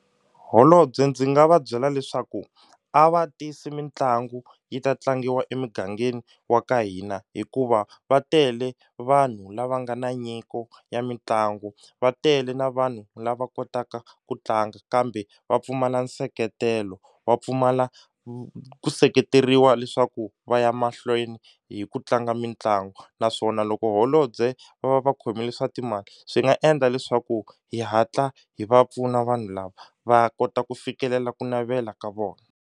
Holobye ndzi nga va byela leswaku a va tisi mitlangu yi ta tlangiwa emigangeni wa ka hina hikuva va tele vanhu lava nga na nyiko ya mitlangu va tele na vanhu lava kotaka ku tlanga kambe va pfumala nseketelo wa pfumala ku seketeriwa leswaku va ya mahlweni hi ku tlanga mitlangu naswona loko holobye va va va khomile swa timali swi nga endla leswaku hi hatla hi va pfuna vanhu lava va kota ku fikelela ku navela ka vona.